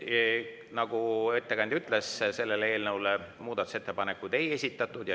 Nagu ettekandja ütles, siis sellele eelnõule muudatusettepanekuid ei esitatud.